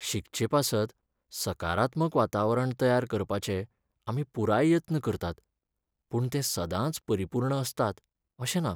शिकचेपासत सकारात्मक वातावरण तयार करपाचे आमी पुराय यत्न करतात पूण ते सदांच परिपूर्ण असतात अशें ना.